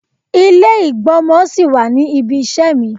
Ilé ìgb'ọ́mọ sí wà ní ibi iṣẹ́ mi.